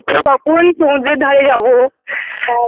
কখন সমুদ্রের ধারে যাব